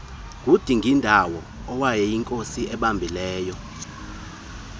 kudingindawo owayeyinkosi ebambileyo